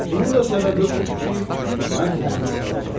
Bunun da səbəbi odur ki, mən əhli savadam.